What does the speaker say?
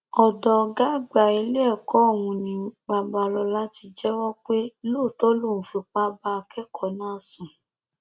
ọdọ ọgá àgbà iléẹkọ ọhún ni babalọla ti jẹwọ pé lóòótọ lòún fipá bá akẹkọọ náà sùn